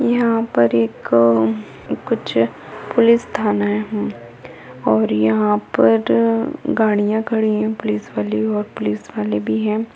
यहाँ पर एक कुछ पुलिस थाना है और यहाँ पर गाड़ियाँ खड़ी हैं पुलिस वाली और पुलिस वाले भी है।